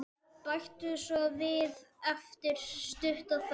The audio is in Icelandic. Bætti svo við eftir stutta þögn.